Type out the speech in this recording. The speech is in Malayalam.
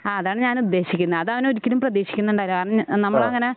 ആ അതാണ് ഞാൻ ഉദ്ദേശിക്കുന്നെ അതവൻ ഒരിക്കലും പ്രതീക്ഷിക്കുന്നുണ്ടാവില്ല കാരണം നമ്മളങ്ങനെ